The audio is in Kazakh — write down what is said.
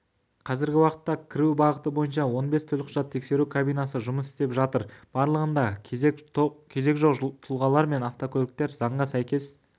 қазіргі уақытта кіру бағыты бойынша он бес төлқұжат тексеру кабинасы жұмыс істеп жатыр барлығында кезек жоқ тұлғалар мен автокөліктер заңға сәйкес